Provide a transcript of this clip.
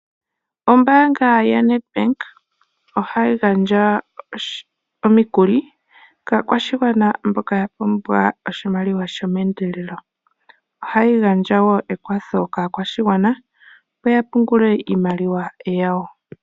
Ombaanga ya Ned Bank ohayi gandja omikuli kaakwashigwana mboka ya pumbwa oshimaliwa sho mendelelo, ohayi gandjawo ekwatho kaakwashigwana opo ya pungule iimaliwa yawo.